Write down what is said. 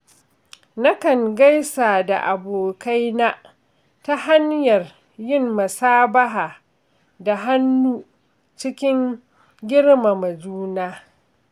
Nakan gaisa da abokaina ta hanyar yin musabaha da hannu cikin girmama juna.